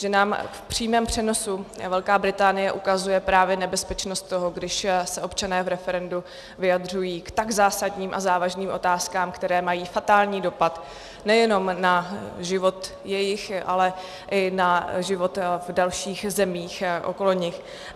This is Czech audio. Že nám v přímém přenosu Velká Británie ukazuje právě nebezpečnost toho, když se občané v referendu vyjadřují k tak zásadním a závažným otázkám, které mají fatální dopad nejenom na život jejich, ale i na život v dalších zemích okolo nich.